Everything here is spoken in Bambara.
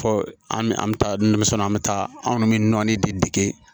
Fɔ an bɛ an bɛ taa dumuni san an bɛ taa anw bɛ nɔnɔnin de dege